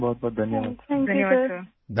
بہت شکریہ! شکریہ سر! شکریہ